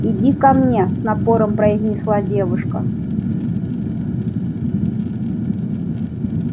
иди ко мне с напором произнесла девушка